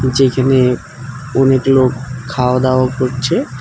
নীচে এইখানে অনেক লোক খাওয়াদাওয়া করছে।